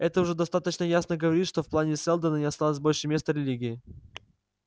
это уже достаточно ясно говорит что в плане сэлдона не осталось больше места религии